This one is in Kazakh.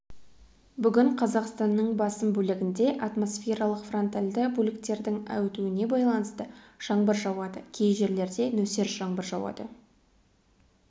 бүгін қазақстанның басым бөлігінде атмосфералық фронтальды бөліктердің өтуіне байланысты жаңбыр жауады кей жерлерде нөсер жаңбыр жауады